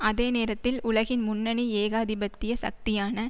அதே நேரத்தில் உலகின் முன்னணி ஏகாதிபத்திய சக்தியான